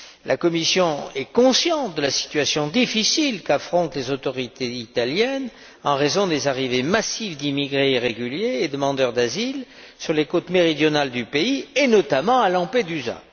La Commission est consciente de la situation difficile qu'affrontent les autorités italiennes en raison des arrivées massives d'immigrés irréguliers et demandeurs d'asile sur les côtes méridionales du pays, et notamment à Lampedusa.